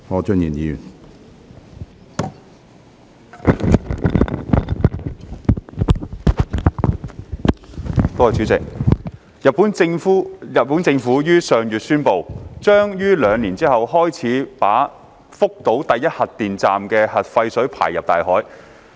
主席，日本政府於上月宣布，將於兩年後開始把福島第一核電站的核廢水排放入大海。